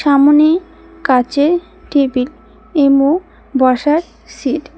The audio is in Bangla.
সামোনে কাচের টেবিল এমো বসার সিট ।